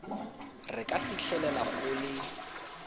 re ka fitlhelela go le